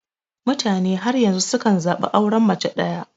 Mutane har yanzu sukan zaɓi auren mace daya.